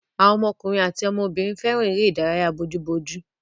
Àwọn ọmọkùnrin àti ọmọbìnrin fẹ́ràn èré-ìdárayá bójú ojú.